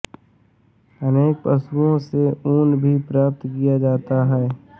अनेक पशुओं से ऊन भी प्राप्त किया जाता है